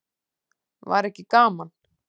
Var ekki gaman?